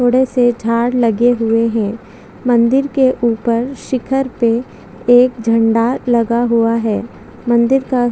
थोड़े से झाड़ लगे हुए है मंदिर के ऊपर शिखर पे एक झंडा लगा हुआ है मंदिर का--